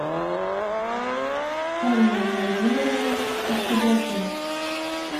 анна владимировна подшибякина